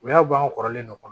U y'a bange kɔrɔlen